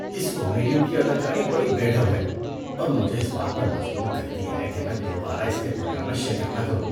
اس comedian کی اداکاری بڑی بے ڈھب ہے اور مجھے اس بات پر مجبور کرتی ہے کہ میں دوبارہ اس کے پروگرام میں شرکت نہ کروں۔